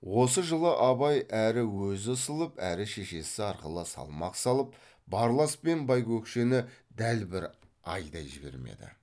осы жылы абай әрі өзі ысылып әрі шешесі арқылы салмақ салып барлас пен байкөкшені дәл бір айдай жібермеді